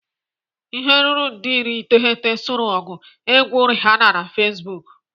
Ihe ruru nde iri iteghete soro ọgụ egwu Rihanna na Facebook.